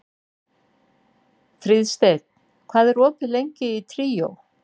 Fríðsteinn, hvað er opið lengi í Tríó?